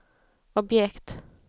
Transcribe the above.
objekt